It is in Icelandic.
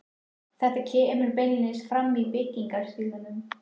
Þetta kemur beinlínis fram í byggingarstílnum.